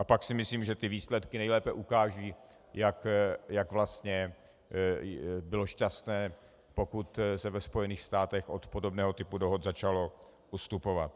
A pak si myslím, že ty výsledky nejlépe ukážou, jak vlastně bylo šťastné, pokud se ve Spojených státech od podobného typu dohod začalo ustupovat.